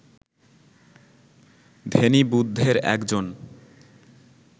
ধ্যানী বুদ্ধের একজন